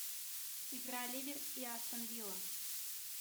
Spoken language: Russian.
игра ливер и астон вилла